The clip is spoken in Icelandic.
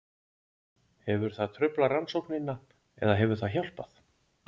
Hefur það truflað rannsóknina eða hefur það hjálpað?